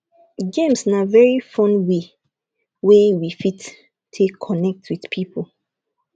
games na very fun way wey we fit take connect with pipo